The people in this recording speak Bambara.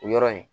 O yɔrɔ in